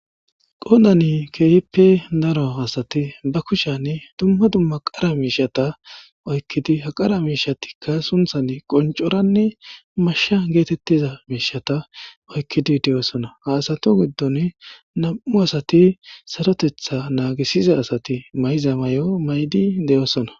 qodani keehippe daro asati ba kushani dumma dumma qara miishata oykkidi ha qara miishatikka sunthan qoncoranne mashsha geetettiza miishata oykkidi de7oosona ha asatu giddon nam7u asati sarotetha naagisiza asati mayza may7o maydi de7oosona